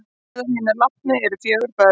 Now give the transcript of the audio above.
Meðal hinna látnu eru fjögur börn